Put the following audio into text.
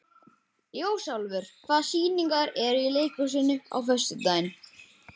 Ljósálfur, hvaða sýningar eru í leikhúsinu á föstudaginn?